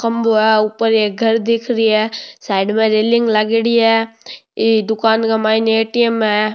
खम्भों है ऊपर एक घर दिख रेहो है साइड में रेलिंग लगेड़ी है ये दुकान के माईने ए.टी.एम. है।